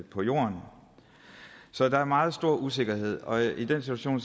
på jorden så der er meget stor usikkerhed og i den situation